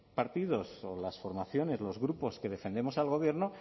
partidos o las formaciones los grupos que defendemos al gobierno